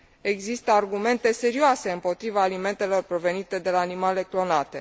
Există argumente serioase împotriva alimentelor provenite de la animale clonate.